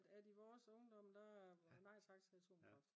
at i vores ungdom der nej tak til atomkraft